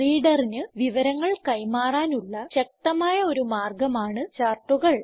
റീഡറിന് വിവരങ്ങൾ കൈമാറാനുള്ള ശക്തമായ ഒരു മാർഗമാണ് ചാർട്ടുകൾ